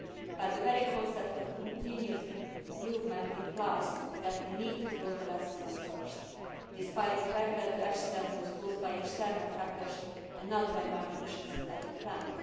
but the very concept of continuous improvement implies that we need to draw the lessons first, despite the fact that the accident was caused by external factors and not by malfunctions at the plant.